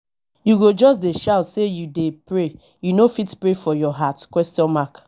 you go just dey shout sey you dey pray you no fit pray for your heart question mark